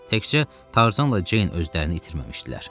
Təkcə Tarzanla Ceyn özlərini itirməmişdilər.